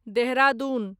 Dehradun